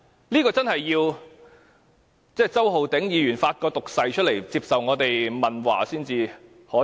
我們真的要周浩鼎議員發一個毒誓，接受我們問話才會知道。